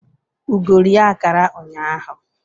Ugo rie akara ụnyaahụ